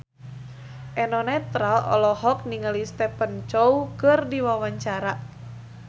Eno Netral olohok ningali Stephen Chow keur diwawancara